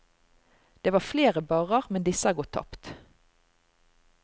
Det var flere barrer, men disse er gått tapt.